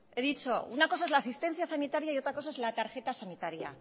he dicho una cosa es la asistencia sanitaria y otra cosa es la tarjeta sanitaria